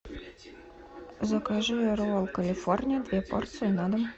закажи ролл калифорния две порции на дом